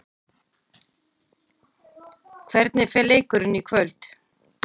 Hvernig fer leikurinn í kvöld?